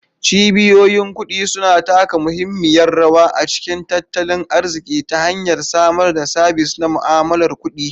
Cibiyoyin kudi suna taka muhimmiyar rawa a cikin tattalin arziki ta hanyar samar da sabis na mu'amalar kuɗi.